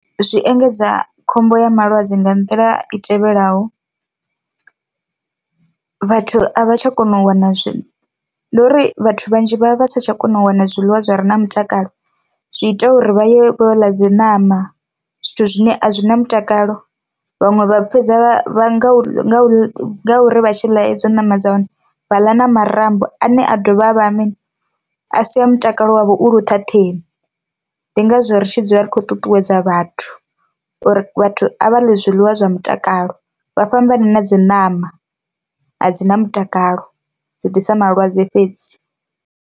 Zwi engedza khombo ya malwadze nga nḓila i tevhelaho, vhathu a vha tsha kona u wana zwi nduri vhathu vhanzhi vha vha vha satsha kona u wana zwiḽiwa zwi re na mutakalo, zwi ita uri vha ye vho ḽa dzi ṋama zwithu zwine a zwina mutakalo, vhaṅwe vha fhedza vha nga u nga u nga uri vha tshi ḽa hedzo ṋama dza hone vha ḽa na marambo ane a dovha a vha mini a sia mutakalo wavho u luṱhaṱheni, ndi ngazwo ri tshi dzula ri khou ṱuṱuwedza vhathu uri vhathu a vha ḽe zwiḽiwa zwa mutakalo vha fhambane na dzi ṋama a dzi na mutakalo dzi ḓisa malwadze fhedzi.